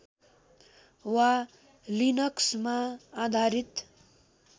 वा लिनक्समा आधारित